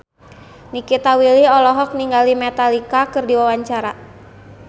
Nikita Willy olohok ningali Metallica keur diwawancara